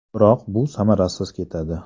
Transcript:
Biroq, bu samarasiz ketadi.